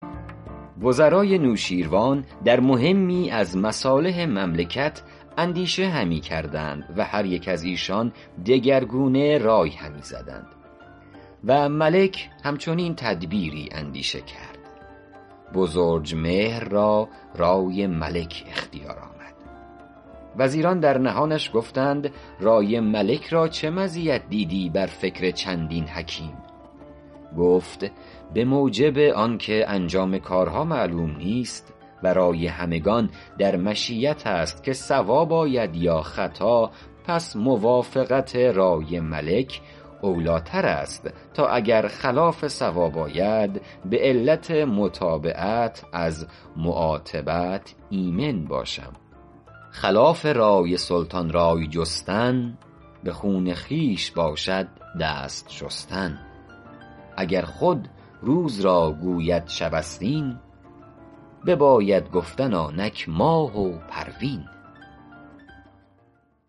وزرای نوشیروان در مهمی از مصالح مملکت اندیشه همی کردند و هر یکی از ایشان دگرگونه رای همی زدند و ملک هم چنین تدبیری اندیشه کرد بزرجمهر را رای ملک اختیار آمد وزیران در نهانش گفتند رای ملک را چه مزیت دیدی بر فکر چندین حکیم گفت به موجب آن که انجام کارها معلوم نیست و رای همگان در مشیت است که صواب آید یا خطا پس موافقت رای ملک اولی ٰتر است تا اگر خلاف صواب آید به علت متابعت از معاتبت ایمن باشم خلاف رای سلطان رای جستن به خون خویش باشد دست شستن اگر خود روز را گوید شب است این بباید گفتن آنک ماه و پروین